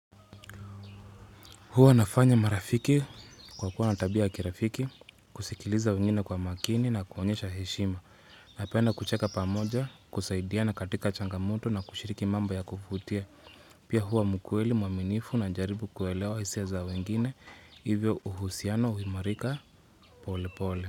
Huwa nafanya marafiki kwa kuwa na tabia ya kirafiki, kusikiliza wengine kwa makini na kuonyesha heshima. Napenda kucheka pamoja, kusaidiana katika changamoto na kushiriki mambo ya kuvutia. Pia huwa mkweli, mwaminifu najaribu kuelewa hisia za wengine, hivyo uhusiano huimarika pole pole.